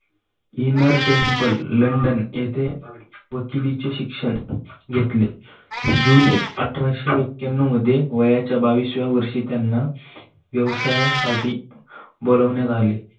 Inner temple London येथे पदवीचे शिक्षण घेतले. जुने अठराशे मध्ये वयाच्या बावीस व्या वर्षी त्यांना व्यवसायासाठी बोलवण्यात आले.